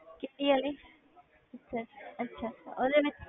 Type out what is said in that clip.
ਕਿਹਦੀ ਵਾਲੀ ਅੱਛਾ ਅੱਛਾ ਉਹਦੇ ਨਾਲ